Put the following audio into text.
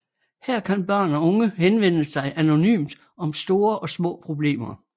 Her kan børn og unge henvende sig anonymt om store og små problemer